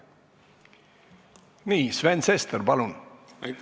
Nii, Sven Sester, palun!